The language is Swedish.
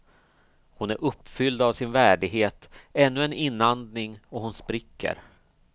Hon är uppfylld av sin värdighet, ännu en inandning och hon spricker.